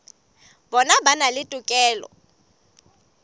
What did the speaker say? bona ba na le tokelo